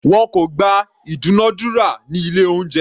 Wọn kò gba ìdúnadúrà ní ilé oúnjẹ.